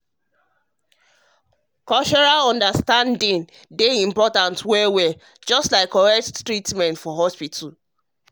um cultural understanding important well just like correct treatment for hospital.